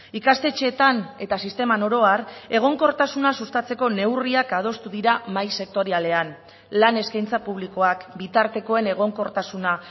ikastetxeetan eta sisteman oro ar egonkortasuna sustatzeko neurriak adostu dira mahai sektorialean lan eskaintza publikoak bitartekoen egonkortasuna